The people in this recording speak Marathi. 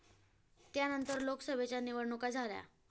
त्यानंतर लोकसभेच्या निवडणुका झाल्या.